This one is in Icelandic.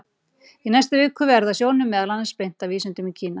Í næstu viku verður sjónum meðal annars beint að vísindum í Kína.